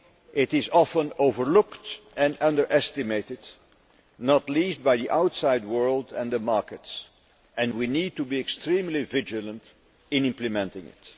It is often overlooked and underestimated, not least by the outside world and the markets, and we need to be extremely vigilant in implementing it.